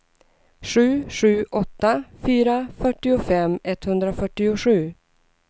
sju sju åtta fyra fyrtiofem etthundrafyrtiosju